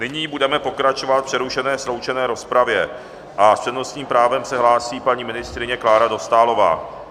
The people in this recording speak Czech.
Nyní budeme pokračovat v přerušené sloučené rozpravě a s přednostním právem se hlásí paní ministryně Klára Dostálová.